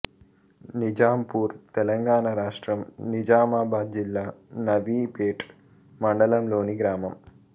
నిజాంపూర్ తెలంగాణ రాష్ట్రం నిజామాబాద్ జిల్లా నవీపేట్ మండలంలోని గ్రామం